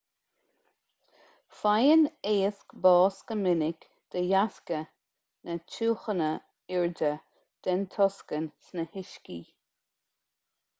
faigheann éisc bás go minic de dheasca na tiúchana airde den tocsain sna huiscí